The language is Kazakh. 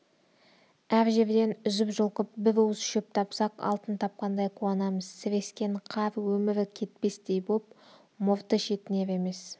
әр жерден үзіп-жұлқып бір уыс шөп тапсақ алтын тапқандай қуанамыз сірескен қар өмірі кетпестей боп мұрты шетінер емес